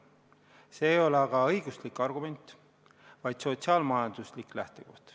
See ei ole aga õiguslik argument, vaid sotsiaal-majanduslik lähtepunkt.